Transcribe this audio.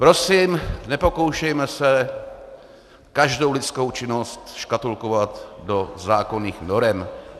Prosím, nepokoušejme se každou lidskou činnost škatulkovat do zákonných norem.